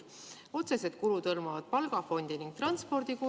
Otsesed kulud hõlmavad palgafondi ning transpordikulu.